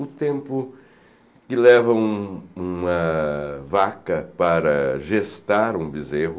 O tempo que leva um uma vaca para gestar um bezerro.